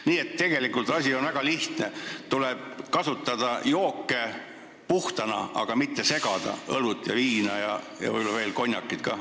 Nii et tegelikult on asi väga lihtne: tuleb kasutada jooke puhtana, aga mitte segada õlut ja viina ning võib-olla veel konjakit ka.